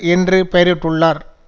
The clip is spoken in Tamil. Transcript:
என்று பெயரிட்டுள்ளார்